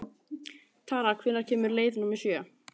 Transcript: Tara, hvenær kemur leið númer sjö?